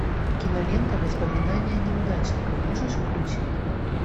кинолента воспоминания неудачника можешь включить